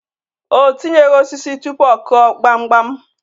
O tinyeghi osisi tụpụ ọ Kụọ gbamgbam.